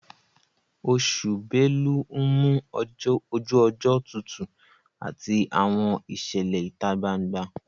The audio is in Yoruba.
Oṣù belu ń mú ojú ọjọ́ tutù àti àwọn ìṣẹ̀lẹ̀ ìta gbangba